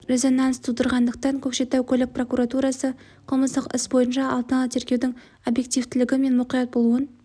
резонанс тудырғандықтан көкшетау көлік прокуратурасы қылмыстық іс бойынша алдын ала тергеудің объективтілігі мен мұқият болуын